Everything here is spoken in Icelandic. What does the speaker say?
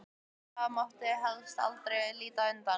Og það mátti helst aldrei líta undan.